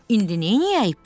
İndi neyləyək, Pux?